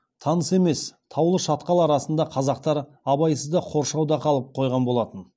таныс емес таулы шатқал арасында қазақтар абайсызда қоршауда қалып қойған болатын